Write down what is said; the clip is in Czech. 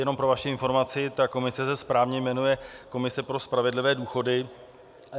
Jenom pro vaši informaci, ta komise se správně jmenuje komise pro spravedlivé důchody.